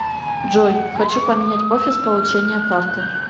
джой хочу поменять офис получения карты